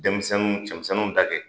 Denmisɛnninw cɛmisɛnninw ta kɛ.